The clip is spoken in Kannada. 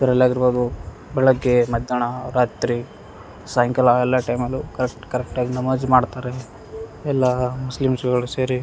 ದ್ರಲ್ ಆಗಿರ್ಬೋದು ಬೆಳಿಗ್ಗೆ ಮಧ್ಯಾಣಾ ರಾತ್ರಿ ಸಾಯಂಕಾಲ ಎಲ್ಲ ಟೈಮಲ್ಲು ಕರೆಕ್ಟ್ ಕರೆಕ್ಟಾಗಿ ನಮಾಜ್ ಮಾಡ್ತಾರೆ ಎಲ್ಲಾ ಮುಸ್ಲಿಮ್ಸ್ ಗಳು ಸೇರಿ --